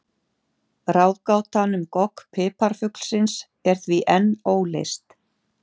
Ráðgátan um gogg piparfuglsins er því enn óleyst.